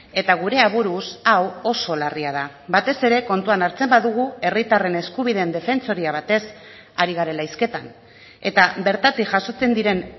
eta gure aburuz hau oso larria da batez ere kontuan hartzen badugu herritarren eskubideen defentsoria batez ari garela hizketan eta bertatik jasotzen diren